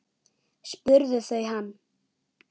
spurðu þau hann.